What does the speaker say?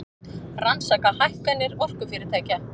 Rannsaka hækkanir orkufyrirtækja